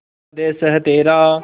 स्वदेस है तेरा